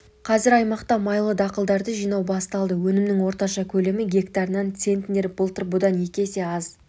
қазір аймақта майлы дақылдарды жинау басталды өнімнің орташа көлемі гектарынан центнер былтыр бұдан екі есе аз